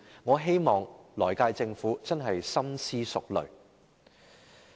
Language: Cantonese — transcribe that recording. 我希望來屆政府深思熟慮。